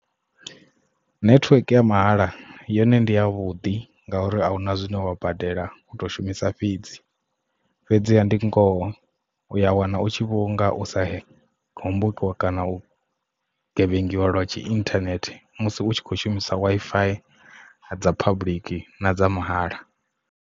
Network ya mahala yone ndi ya vhuḓi nga uri ahuna zwine wa badela u to shumisa fhedzi fhedziha ndi ngoho uya wana u tshi vhonga u sa hombokiwa kana u gevhengiwa lwa tshi internet musi u tshi kho shumisa Wi-Fi dza public na dza mahala.